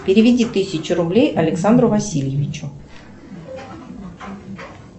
переведи тысячу рублей александру васильевичу